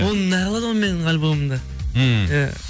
оны не қылады ол менің альбомымды ммм иә